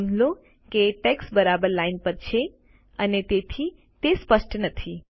નોંધ લો કે ટેક્સ્ટ બરાબર લાઈન પર છે અને તેથી તે સ્પષ્ટ નથી